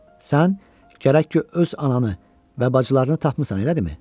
Sən gərək ki, öz ananı və bacılarını tapmısan, elə deyilmi?